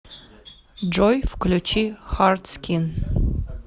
джой включи хартскин